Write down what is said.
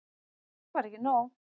Og það var ekki nóg.